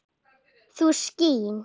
þú skín